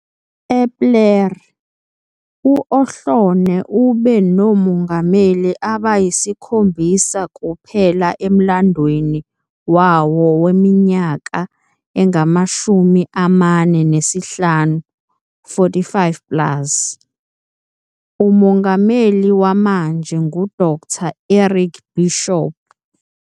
Epler, u-Ohlone ube nomongameli abayisikhombisa kuphela emlandweni wawo weminyaka engama-45 plus. Umongameli wamanje nguDkt Eric Bishop.